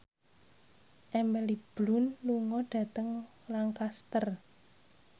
Emily Blunt lunga dhateng Lancaster